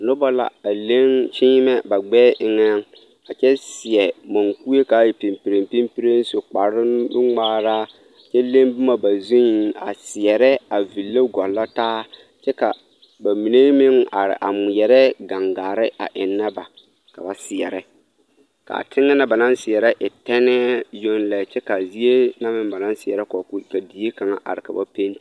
Noba la a leŋ kyeemɛ ba gbɛɛ eŋɛ a kyɛ seɛ munkue k'a e pimpirem pimpirem su kpare nu-ŋmaara kyɛ leŋ boma ba zuŋ a seɛrɛ a ville gɔllɔ taa kyɛ ka bamine meŋ are a ŋmeɛrɛ gaŋgare a ennɛ ba ka ba seɛrɛ k'a teŋɛ na ba naŋ seɛrɛ e tɛnɛɛ yoŋ lɛ kyɛ k'a zie na meŋ ba naŋ seɛrɛ ka die kaŋa are ka ba penti